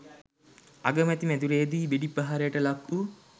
අගමැති මැදුරේදී වෙඩි ප්‍රහාරයට ලක් වූ